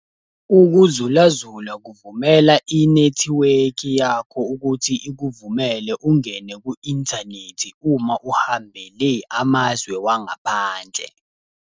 Ukuzulazula kuvumela inethiwekhi yakho ukuthi ikuvumele ungene ku-inthanethi uma uhambele amazwe wangaphandle.